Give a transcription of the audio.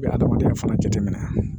U bɛ adamadenya fana jateminɛ